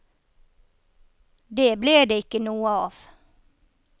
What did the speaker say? Det ble det ikke noe av.